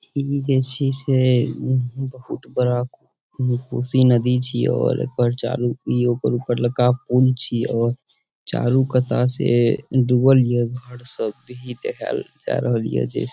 इ जे छै बहुत बड़ा कोसी नदी छीये और ओय पर चालू इ ओकर ऊपर लका पुल छीये और चारु कता से डुबल ये घर सब भी देखाएल जाय रहल ये जे --